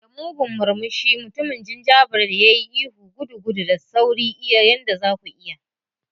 Da mugun murmushi, mutumin gingerbread ya yi ihu, "Gudu, gudu, da sauri iya yanda za ku iya!"